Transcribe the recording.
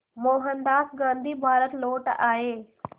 मोहनदास गांधी भारत लौट आए